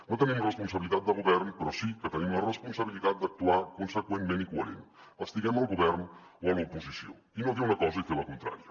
no tenim responsabilitat de govern però sí que tenim la responsabilitat d’actuar conseqüentment i coherent estiguem al govern o a l’oposició i no dir una cosa i fer la contrària